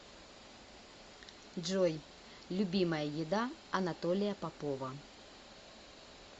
джой любимая еда анатолия попова